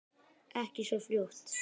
Ekki svo fljótt.